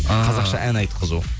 ыыы қазақша ән айтқызу